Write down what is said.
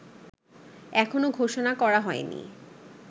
এখনো ঘোষণা করা হয়নি